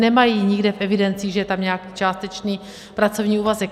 Nemají nikde v evidencích, že je tam nějaký částečný pracovní úvazek.